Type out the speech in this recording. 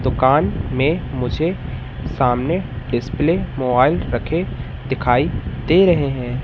दुकान में मुझे सामने डिस्प्ले मोबाइल रखे दिखाई दे रहे हैं।